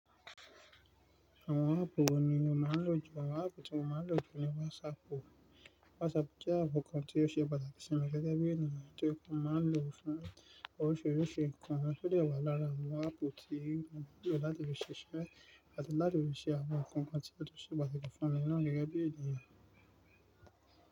Àwọn áàpù wo ni o máa ń lò jù? Àwọn áàpù tí mo máa ń lò jù ni WhatsApp. WhatsApp jẹ́ áàpù kan tí ó ṣe pàtàkì sí mi gẹ́gẹ́ bí ènìyàn tí ọkàn máa ń lò fún oríṣiríṣi nǹkan, ó sì dẹwà lára àwọn áàpù tí mò ń lò láti lè ṣiṣẹ́ àti láti lè ṣe àwọn nǹkan kan tí ó ṣe pàtàkì fún mi nàá gẹ́gẹ́ bí ènìyàn.